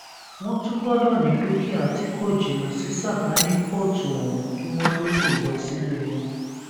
wọn tún gbọdọ ní dúkìá tí kò jìnnà sí sàkáání kóòtù ọhún kí wọn tóó lè lọ sílé wọn